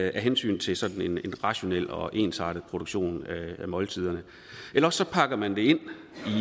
af hensyn til sådan en rationel og ensartet produktion af måltiderne eller også pakker man det ind